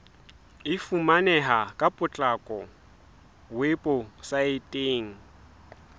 e fumaneha ka potlako weposaeteng